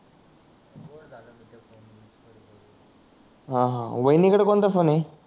हम्म हम्म वाहिनी कडे कोणता फोन आहे